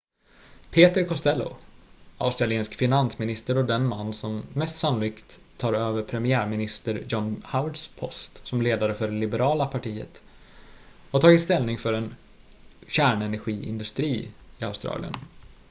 peter costello australiensisk finansminister och den man som mest sannolikt tar över premiärminister john howards post som ledare för det liberala partiet har tagit ställning för en kärnenergiindustri i australien